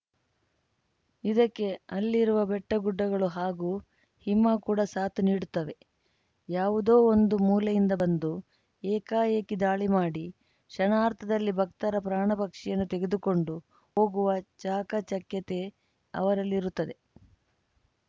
ಇದಕ್ಕೆ ಅಲ್ಲಿರುವ ಬೆಟ್ಟಗುಡ್ಡಗಳು ಹಾಗೂ ಹಿಮ ಕೂಡ ಸಾಥ್‌ ನೀಡುತ್ತವೆ ಯಾವುದೋ ಒಂದು ಮೂಲೆಯಿಂದ ಬಂದು ಏಕಾಏಕಿ ದಾಳಿ ಮಾಡಿ ಕ್ಷಣಾರ್ಧದಲ್ಲಿ ಭಕ್ತರ ಪ್ರಾಣ ಪಕ್ಷಿಯನ್ನು ತೆಗೆದುಕೊಂಡು ಹೋಗುವ ಚಾಕಚಕ್ಯತೆ ಅವರಲ್ಲಿರುತ್ತದೆ